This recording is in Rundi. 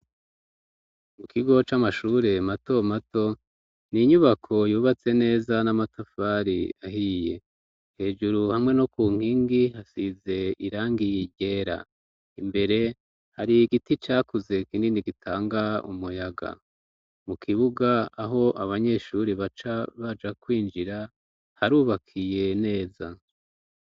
Mu kigo c'amashure mato mato ni inyubako yubatse neza n'amatafari ahiye hejuru hamwe no ku nkingi hasize irangi ryera imbere hari igiti cakuze kinini gitanga umuyaga mu kibuga aho abanyeshuri baca baja kwinjira harubakiye neza.